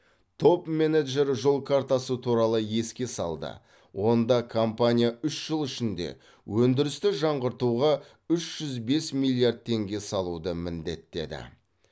топ менеджер жол картасы туралы еске салды онда компания үш жыл ішінде өндірісті жаңғыртуға үш жүз бес миллиард теңге салуды міндеттеді